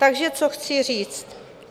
Takže co chci říct?